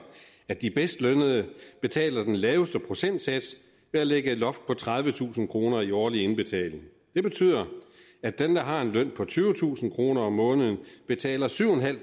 at de bedst lønnede betaler den laveste procentsats ved at lægge et loft på tredivetusind kroner i årlig indbetaling det betyder at dem der har en løn på tyvetusind kroner om måneden betaler syv en halv